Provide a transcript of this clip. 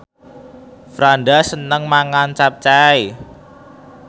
Franda seneng mangan capcay